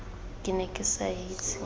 ke ne ke sa itse